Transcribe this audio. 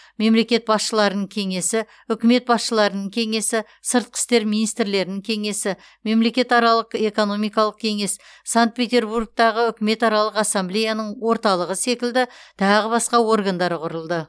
мемлекет басшыларының кеңесі үкімет басшыларының кеңесі сыртқы істер министрлерінің кеңесі мемлекетаралық экономикалық кеңес санкт петербургтағы үкіметаралық ассамблеяның орталығы секілді тағы басқа органдары құрылды